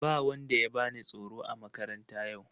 Ba wanda ya bani tsoro a makaranta yau.